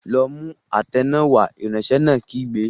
Lọ mú àtẹ náà wá! Ìránṣẹ́ náà kígbe.